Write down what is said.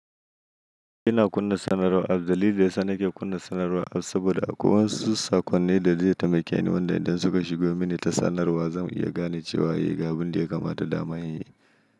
Ina kunna sanarwa apps. Dalili da yasa nake kunna sanarwa apps saboda akwai wasu saƙonni da zai taimake ni, wanda idan suka shigo mini ta sanarwa, zan iya gane cewa a ga abin da ya kamata da ma in yi.